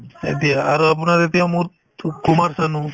এতিয়া আৰু আপোনাৰ এতিয়া মোৰ কুমাৰ চানো